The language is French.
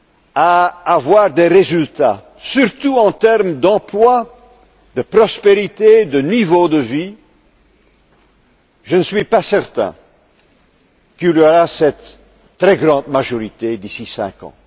pas à obtenir des résultats, surtout en termes d'emploi, de prospérité, de niveau de vie, je ne suis pas certain que se dégage une si large majorité d'ici cinq